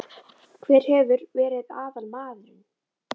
Hver hefur verið aðalmaðurinn?